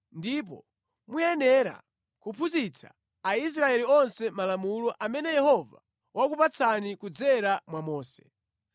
ndipo muyenera kuphunzitsa Aisraeli onse malamulo amene Yehova wakupatsani kudzera mwa Mose.”